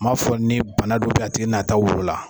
M'a fɔ ni bana dɔ bɛ yen a wolo la